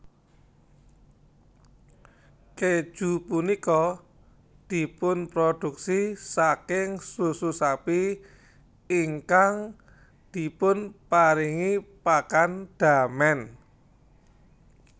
Kèju punika dipunproduksi saking susu sapi ingkang dipunparingi pakan damen